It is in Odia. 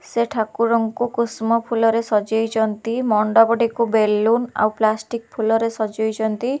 ସେ ଠାକୁରଙ୍କୁ କୁସୁମ ଫୁଲରେ ସଜେଇଚନ୍ତି ମଣ୍ଡପଟିକୁ ବେଲୁନ ଆଉ ପ୍ଲ୍ୟାଷ୍ଟିକ୍ ଫୁଲରେ ସଜେଇଚନ୍ତି।